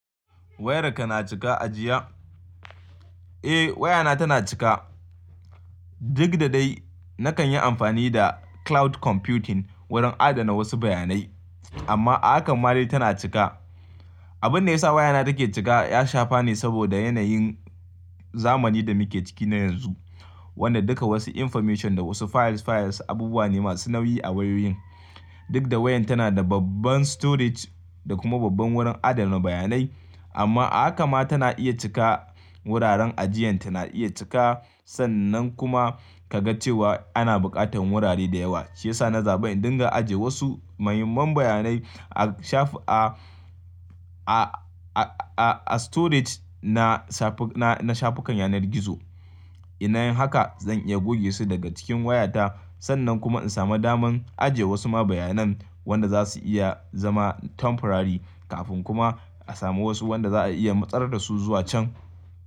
Wayarka na cika ajiya? Eh wayana tana cika. Duk da dai nakan yi amfani da cloud computing wurin adana wasu bayanai amma haka ma dai tana cika. Abun da ya sa wayana take cika ya shafa ne saboda yanayin zamani da muke ciki na yanzu wanda duka wasu information da wasu files files abubuwa ne masu nauyi a wayoyin. Duk da wayan tana da babban storage da kuma babban wurin adana bayanai amma haka ma tana iya cika. Wuraren ajiyan tana iya cika sannan kuma kaga cewa ana buƙatar wurare da yawa. Shi ya sa na zaben dinga ajiye wasu muhimman bayanai a shafi a, a, a, a, a storage na safi na, na shafukan yanar gizo. In anyi haka zan iya goge su daga cikin wayata sannan kuma in samu damar ajiye wasu ma bayanan wanda za su iya zama temporary kafin kuma a samu wasu wanda za a iya matsar da su zuwa can.